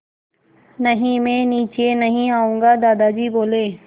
नहीं मैं नीचे नहीं आऊँगा दादाजी बोले